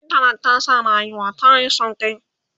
intanet ta sa rayuwa tayi sauƙi